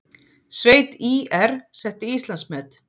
Sveit ÍR setti Íslandsmet